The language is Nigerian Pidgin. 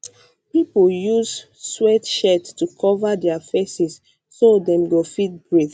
pipo use sweatshirts to cover dia faces so dem go fit breathe